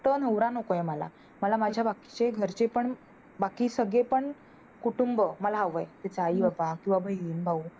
तो नवरा नकोय मला माझ्या बाबतीत घरचे पण बाकी सगळे पण कुटुंब मला हवं त्याचे आई बाबा किंवा बहिण, भाऊ